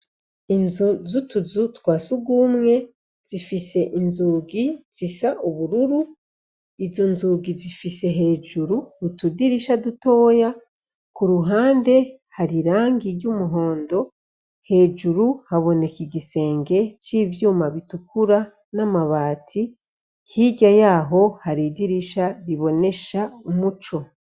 Inzu zutuzu twasugumwe zifis' inzugi zis' ubururu, izo nzugi zifise hejur' utudirisha dutoya, kuruhome hasiz' irangi ry' umuhondo, hejuru habonek' igisenge c' ivyuma bitukura n' amabati, hirya yaho har' idirisha ribonesh' umuco.